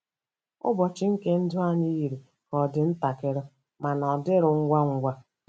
ỤBỌCHỊ nke ndụ anyị yiri ka ọ dị ntakịrị ma na-adịru ngwa ngwa.